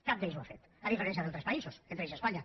cap d’ells ho ha fet a diferència d’altres països entre ells espanya